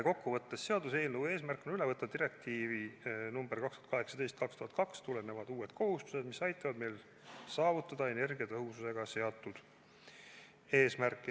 Kokkuvõttes on seaduseelnõu eesmärk üle võtta direktiivist nr 2018/2002 tulenevad uued kohustused, mis aitavad meil saavutada energiatõhususega seatud eesmärke.